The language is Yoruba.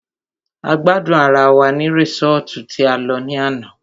A gbádùn ará wá ní resọ́ọ́tu tí a lọ ní àná.